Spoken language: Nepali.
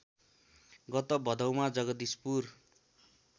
गत भदौमा जगदीशपुर